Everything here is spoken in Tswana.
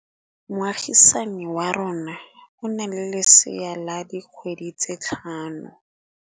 Moagisane wa rona o na le lesea la dikgwedi tse tlhano.